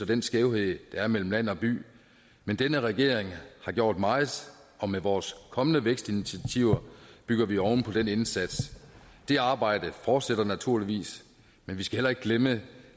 den skævhed der er mellem land og by men denne regering har gjort meget og med vores kommende vækstinitiativer bygger vi oven på den indsats det arbejde fortsætter naturligvis men vi skal heller ikke glemme